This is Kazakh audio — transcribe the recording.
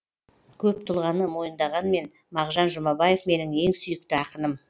көп тұлғаны мойындағанмен мағжан жұмабаев менің ең сүйікті ақыным